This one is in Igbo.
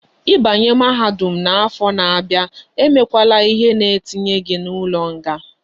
I banye mahadum na afo na abia,e me kwala ihe na etinye gi na ulo nga